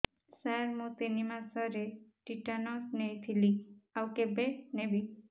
ସାର ମୁ ତିନି ମାସରେ ଟିଟାନସ ନେଇଥିଲି ଆଉ କେବେ ନେବି